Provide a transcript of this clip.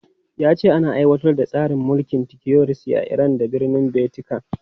Ya ce ana aiwatar da tsarin mulkin tiyokiresi a Iran da birnin Vatican.